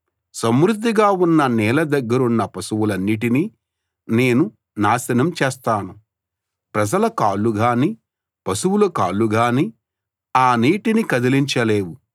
సమృద్ధిగా ఉన్న నీళ్ల దగ్గరున్న పశువులన్నిటినీ నేను నాశనం చేస్తాను ప్రజల కాళ్ళు గానీ పశువుల కాళ్ళు గానీ ఆ నీటిని కదిలించలేవు